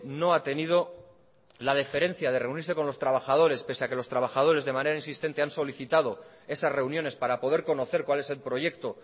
no ha tenido la deferencia de reunirse con los trabajadores pese a que los trabajadores de manera insistente han solicitado esas reuniones para poder conocer cuál es el proyecto